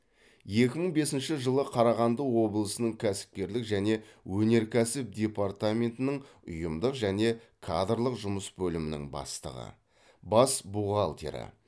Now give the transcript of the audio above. екі мың бесінші жылы қарағанды облысының кәсіпкерлік және өнеркәсіп департаментінің ұйымдық және кадрлық жұмыс бөлімінің бастығы бас бухгалтері